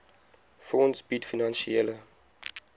fonds bied finansiële